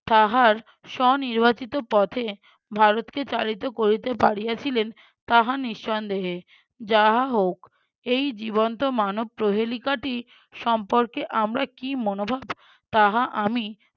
তাহার স্ব নির্বাচিত পথে ভারতকে চালিত করিতে পারিয়াছিলেন তাহা নিঃসন্দেহে। যাহা হোক এই জীবন্ত মানব প্রহেলিকাটি সম্পর্কে আমরা কি মনোভাব তাহা আমি